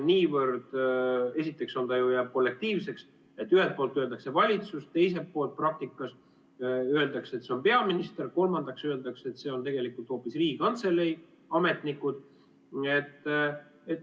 Esiteks ta ju jääb kollektiivseks, et ühelt poolt öeldakse valitsus, teiselt poolt praktikas öeldakse, et see on peaminister, kolmandaks öeldakse, et see on tegelikult hoopis Riigikantselei ametnikud.